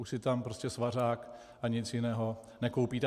Už si tam prostě svařák ani nic jiného nekoupíte.